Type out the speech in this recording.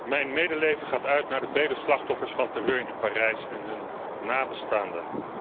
Mijn medeleven gaat uit naar de vele slachtoffers van terreur in Parijs en hun nabestaanden.